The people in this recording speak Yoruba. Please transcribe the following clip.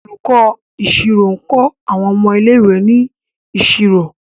Olùkó ìṣirò ní nkọ àwọn ọmọ ilé ìwé ní ìṣòro.